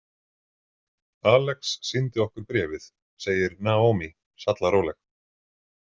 Alex sýndi okkur bréfið, segir Naomi sallaróleg.